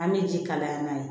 An bɛ ji kalaya n'a ye